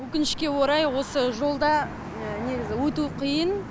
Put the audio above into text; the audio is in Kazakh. өкінішке орай осы жолда негізі өту қиын